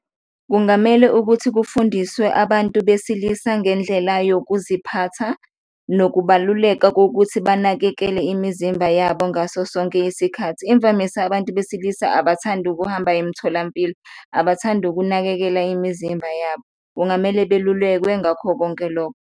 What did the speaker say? Kungamele ukuthi kufundiswe abantu besilisa ngendlela yokuziphatha nokubaluleka kokuthi banakekele imizimba yabo ngaso sonke isikhathi. Imvamisa abantu besilisa abathandi ukuhamba emtholampilo, abathandi ukunakekela imizimba yabo, kungamele belulekwe ngakho konke loko.